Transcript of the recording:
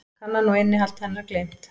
Kannan og innihald hennar gleymt.